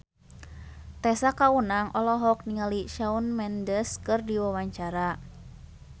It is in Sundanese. Tessa Kaunang olohok ningali Shawn Mendes keur diwawancara